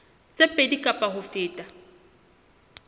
tse pedi kapa ho feta